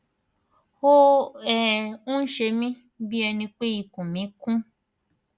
ó um ń ṣe mih bí ẹni pé ikùn mí kún